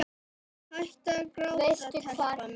Hættu að gráta, telpa mín.